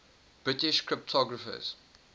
british cryptographers